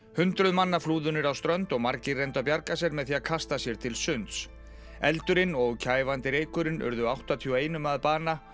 hundruð manna flúðu niður á strönd og margir reyndu að bjarga sér með því að kasta sér til sunds eldurinn og kæfandi reykurinn urðu áttatíu og eitt að bana